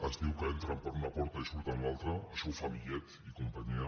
es diu que entren per una porta i surten per una altra això ho fan millet i companyia